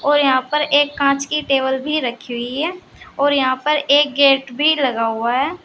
और यहां पर एक कांच की टेबल भी रखी हुई है और यहां पर एक गेट भी लगा हुआ है।